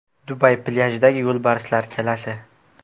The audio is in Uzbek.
Dubay plyajidagi yo‘lbarslar galasi .